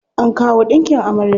An kawo ɗinkin amarya.